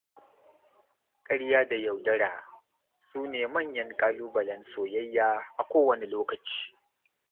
Ƙarya da yaudara su ne manyan ƙalubalen soyayya a kowane lokaci.